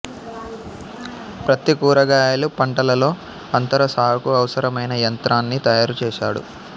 ప్రత్తి కూరగాయలు పంటలలో అంతర సాగుకు అవసరమైన యంత్రాన్ని తయారు చేసాడు